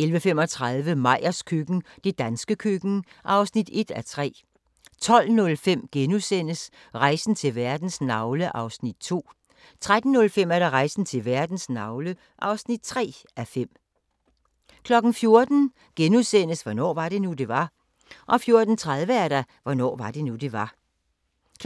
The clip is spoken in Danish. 11:35: Meyers køkken – det danske køkken (1:3) 12:05: Rejsen til verdens navle (2:5)* 13:05: Rejsen til verdens navle (3:5) 14:00: Hvornår var det nu, det var? * 14:30: Hvornår var det nu, det var?